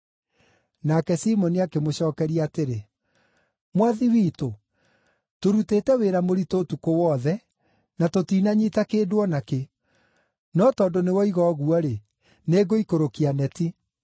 Nake Simoni akĩmũcookeria atĩrĩ, “Mwathi witũ, tũrutĩte wĩra mũritũ ũtukũ wothe, na tũtinanyiita kĩndũ o na kĩ. No tondũ nĩwoiga ũguo-rĩ, nĩngũikũrũkia neti.”